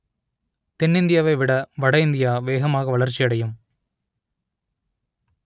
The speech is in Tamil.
தென்னிந்தியாவை விட வட இந்தியா வேகமாக வளர்ச்சியடையும்